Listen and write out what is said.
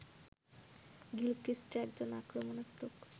Gilchrist একজন আক্রমণাত্মক